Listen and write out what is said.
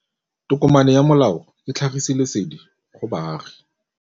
Tokomane ya molao ke tlhagisi lesedi go baagi.